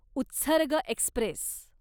Utsarg Express